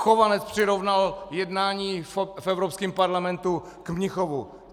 Chovanec přirovnal jednání v Evropském parlamentu k Mnichovu...